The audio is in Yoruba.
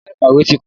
Yara ikowe ti kun